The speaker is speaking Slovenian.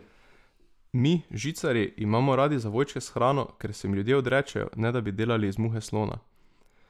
Mi, žicarji, imamo radi zavojčke s hrano, ker se jim ljudje odrečejo, ne da bi delali iz muhe slona.